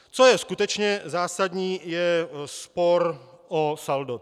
Co je skutečně zásadní, je spor o saldo.